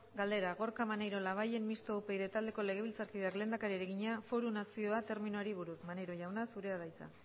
galdera gorka maneiro labayen mistoa upyd taldeko legebiltzarkideak lehendakariari egina foru nazioa terminoari buruz maneiro jauna zurea da hitza